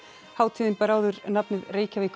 hátíðin bar áður nafnið Reykjavík